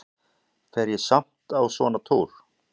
Fer ég samt á svona túr?